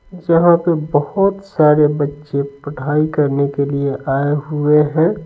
जहाँ पर बहुत सारे बच्चे पढ़ाई करने के लिए आए हुए हैं।